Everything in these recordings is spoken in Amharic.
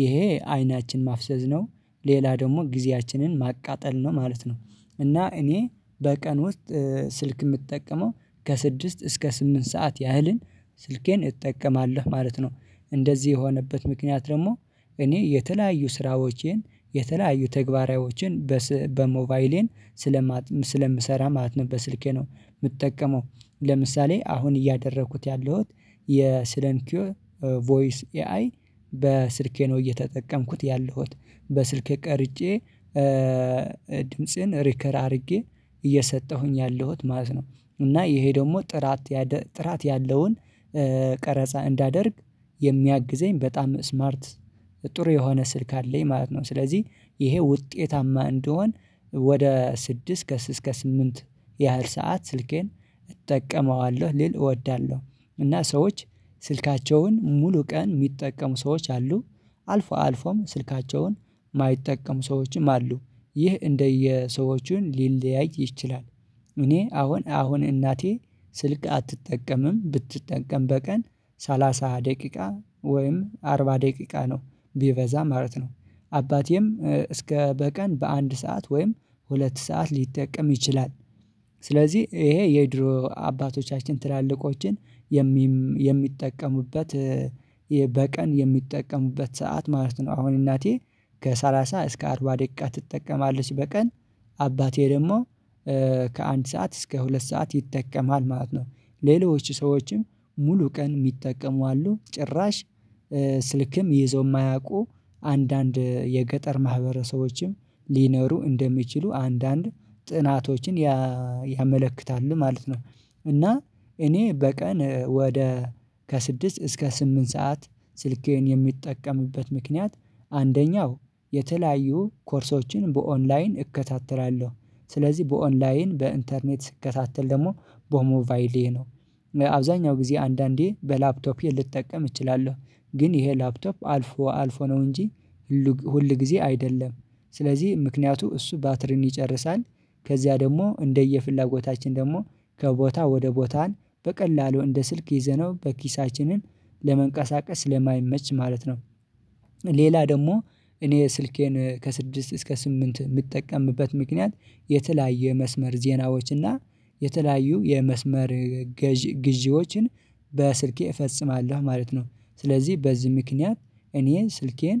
ይሄ አይናችን ማፍሰዝ ነው ሌላ ደግሞ ጊዜያችንን ማቃጠል ነው ማለት ነው። እና እኔ በቀን ውስጥ ስልክ የምጠቀመው ከስድስት እስከ ስምንት ሰዓት ያህልን ስልኬን እጠቀማለሁ ማለት ነው። እንደዚህ የሆነበት ምክንያት ደግሞ እኔ የተለያዩ ስራዎቼን የተለያዩ ትግበራዊዎችን በሞባይሌን ስለምሰራ ማለት ነው። በስልኬ ነው የምጠቀመው ለምሳሌ አሁን እያደረኩት ያለሁት የሳይለንሲዮው ቮይስ ኤአይ በስልኬ ነው እየተጠቀምኩት ያለሁት በስልኬ ቀርጬ ድምጽን ሪከር አድርጌ እየሰጠሁኝ ያለሁት ማለት ነው። እና ይሄ ደግሞ ጥራት ጥራት ያለውን ቀረጻ እንዳደርግ የሚያግዘኝ በጣም ስማርት ጥሩ የሆነ ስልክ አለኝ ማለት ነው። ስለዚህ ይሄ ውጤታማ እንደሆን ወደ ስድስት ከስድስት እስከ ስምንት ያህል ሰዓት ስልኬን እጠቀመዋለሁ ሊል እወዳለሁ። እና ሰዎች ስልካቸውን ሙሉ ቀን የሚጠቀሙ ሰዎች አሉ። አልፎ አልፎም ስልካቸውን የማይጠቀሙ ሰዎችም አሉ። ይህ እንደየሰዎቹን ሊለያይ ይችላል። እኔ አሁን አሁን እናቴ ስልክ አትጠቀምም ብትጠንቀም በቀን ሰላሳ ደቂቃ ወይም አርባ ደቂቃ ነው ቢበዛ ማለት ነው። አባቴም እስከ በቀን በአንድ ሰዓት ወይም ሁለት ሰዓት ሊጠቀም ይችላል። ስለዚህ ይሄ የድሮ አባቶቻችን ትላልቆችን የሚጠቀሙበት በቀን የሚጠቀሙበት ሰዓት ማለት ነው አሁን እናቴ ከሰላሳ እስከ አርባ ደቂቃ ትጠቀማለች በቀን አባቴ ደግሞ ከአንድ ሰዓት እስከ ሁለት ሰዓት ይጠቀማል ማለት ነው። ሌሎች ሰዎችም ሙሉ ቀን የሚጠቀሙ አሉ ጭራሽ ስልክም ይዞ የማያውቁ አንዳንድ የገጠር ማህበረሰቦችም ሊኖሩ እንደሚችሉ አንዳንድ ጥናቶችን ያመለክታል ማለት ነው። እና እኔ በቀን ወደ ከስድስት እስከ ስምንት ሰዓት ስልኬን የሚጠቀምበት ምክንያት አንደኛው የተለያዩ ኮርሶችን በኦንላይን እከታተላለሁ ስለዚህ በኦንላይን በኢንተርኔት ስከታተል ደግሞ ቦሞባይሌ ነው። አብዛኛው ጊዜ አንዳንዴ በላፕቶፔ ልጠቀም እችላለሁ ግን ይሄ ላፕቶፕ አልፎ አልፎ ነው እንጂ ሁል ሁል ጊዜ አይደለም። ስለዚህ ምክንያቱ እሱ ባትሪን ይጨርሳል ከዚያ ደግሞ እንደየፍላጎታችን ደግሞ ከቦታ ወደ ቦታን በቀላሉ እንደ ስልክ ይዘነው በኪሳችንን ለመንቀሳቀስ ለማይመች ማለት ነው። ሌላ ደግሞ እኔ ስልኬን ከስድስት እስከ ስምንት የምጠቀምበት ምክንያት የተለያየ መስመር ዜናዎች ዜናዎችና የተለያዩ የመስመር ግዢዎችን በስልኬ እፈጽማለሁ ማለት ነው። ስለዚህ በዚህ ምክንያት እኔ ስልኬን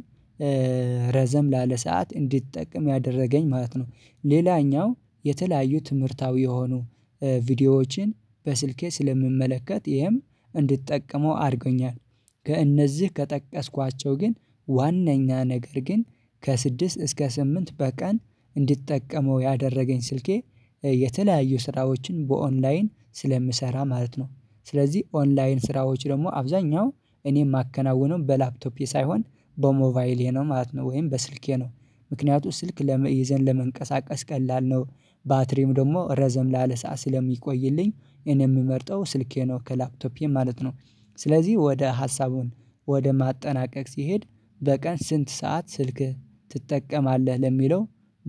ረዘም ላለ ሰዓት እንዲጠቅም ያደረገኝ ማለት ነው። ሌላኛው የተለያዩ ትምህርታዊ የሆኑ ቪዲዮዎችን በስልኬ ስለምመለከት ይሄም እንድትጠቀመው አድርጎኛል። ከእነዚህ ከጠቀስኳቸው ግን ዋናኛ ነገር ግን ከስድስት እስከ ስምንት በቀን እንድጠቀመው ያደረገኝ ስልኬ የተለያዩ ስራዎችን በኦንላይን ስለምሰራ ማለት ነው። ስለዚህ ኦንላይን ስራዎች ደግሞ አብዛኛው እኔ የማከናውነው በላፕቶፒ ሳይሆን በሞባይሌ ነው ማለት ነው ወይም በስልኬ ነው። ምክንያቱም ስልክ ይዘን ለመንቀሳቀስ ቀላል ነው ባትሪም ደግሞ ረዘም ላለ ሰዓት ስለሚቆይልኝ እኔ የምመርጠው ስልኬ ነው ከላፕቶፔ ማለት ነው። ስለዚህ ወደ ሀሳቡን ወደ ማጠናቀቅ ሲሄድ በቀን ስንት ሰዓት ስልክ ትጠቀማለህ ለሚለው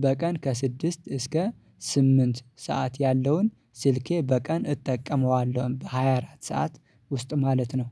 በቀን ከስድስት እስከ ስምንት ሰዓት ያለውን ስልኬ በቀን እጠቀመዋለሁን በሃያ አራት ሰዓት ውስጥ ማለት ነው